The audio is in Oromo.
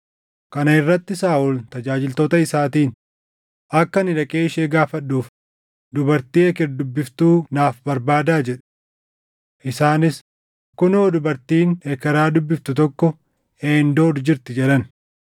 Kana irratti Saaʼol tajaajiltoota isaatiin, “Akka ani dhaqee ishee gaafadhuuf dubartii eker dubbiftuu naaf barbaadaa” jedhe. Isaanis, “Kunoo dubartiin ekeraa dubbiftu tokko Eendoor jirti” jedhan.